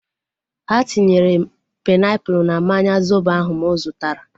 Ha tinyere painiapulu na mmanya zobo ahu mụ zụtara